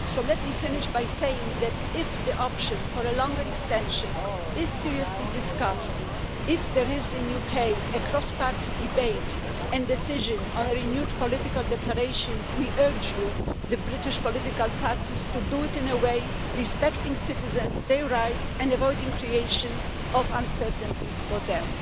So let me finish by saying that if the option for a longer extension is seriously discussed, if there is in UK a cross party debate and decision on a renewed political declaration, we urge you the British political parties to do it in a way respecting citizens and their rights and avoiding the creation of uncertainties for them.